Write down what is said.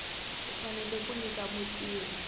u fanele ku nyika mutirhi